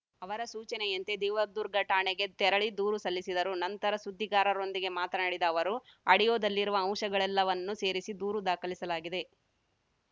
ಅವರ ಸೂಚನೆಯಂತೆ ದೇವದುರ್ಗ ಠಾಣೆಗೆ ತೆರಳಿ ದೂರು ಸಲ್ಲಿಸಿದರು ನಂತರ ಸುದ್ದಿಗಾರರೊಂದಿಗೆ ಮಾತನಾಡಿದ ಅವರು ಆಡಿಯೋದಲ್ಲಿರುವ ಅಂಶಗಳೆಲ್ಲವನ್ನು ಸೇರಿಸಿ ದೂರು ದಾಖಲಿಸಲಾಗಿದೆ